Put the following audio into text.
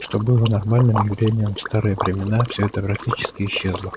что было нормальным явлением в старые времена всё это практически исчезло